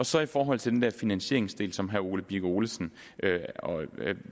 så i forhold til den der finansieringsdel som herre ole birk olesen